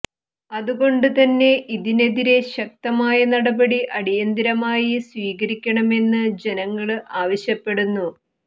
അതുകൊണ്ട് തന്നെ ഇതിനെതിരെ ശക്തമായ നടപടി അടിയന്തിരമായി സ്വീകരിക്കണമെന്ന് ജനങ്ങള് ആവശ്യപ്പെടുന്നു